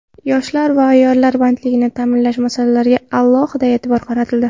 Yoshlar va ayollar bandligini ta’minlash masalalariga alohida e’tibor qaratildi.